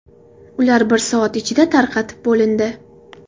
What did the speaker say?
Ular bir soat ichida tarqatib bo‘lindi.